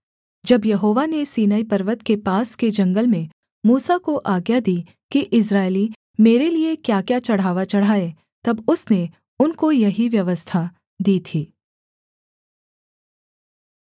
जब यहोवा ने सीनै पर्वत के पास के जंगल में मूसा को आज्ञा दी कि इस्राएली मेरे लिये क्याक्या चढ़ावा चढ़ाएँ तब उसने उनको यही व्यवस्था दी थी